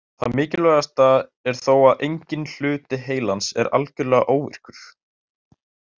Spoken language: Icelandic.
Það mikilvægasta er þó að enginn hluti heilans er algjörlega óvirkur.